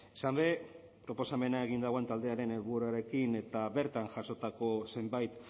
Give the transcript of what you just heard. izan ere proposamena egin duen taldearen helburuarekin eta bertan jasotako zenbait